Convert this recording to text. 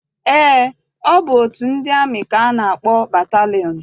Eé, ọ bụ otu ndị amị ka a na-akpọ batalịọn.